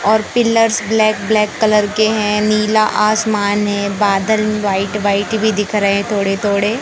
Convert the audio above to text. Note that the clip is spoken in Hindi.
और पिलर्स ब्लैक ब्लैक कलर के हैं नीला आसमान है बादल व्हाइट व्हाइट भी दिख रे हैं थोड़े थोड़े।